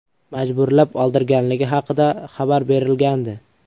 majburlab oldirganligi haqida xabar berilgandi .